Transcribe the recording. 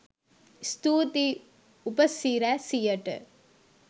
ස්තුතියි උපසි‍රැසියට